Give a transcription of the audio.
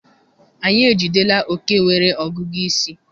Anyị ejidela oke nwere ọgụgụ isi.